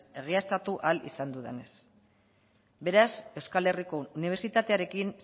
egiaztatu ahal izan dudanez beraz euskal herriko unibertsitatearekin